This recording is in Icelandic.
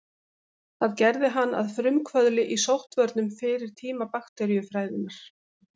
Það gerði hann að frumkvöðli í sóttvörnum fyrir tíma bakteríufræðinnar.